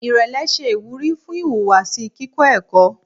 Irẹlẹ ṣe iwuri fun ihuwasi kikọ ẹkọ